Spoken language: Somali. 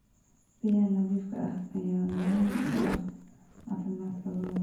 Biyaha nadiifka ah ayaa muhiim u ah caafimaadka lo'da.